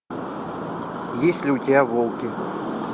есть ли у тебя волки